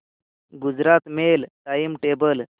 Gujarat mail time table